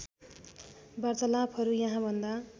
वार्तालापहरू यहाँभन्दा